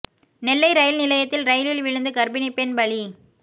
நெல்லை rail நிலையத்தில் ரெயிலில் விழுந்து கர்ப்பிணி பெண் பலி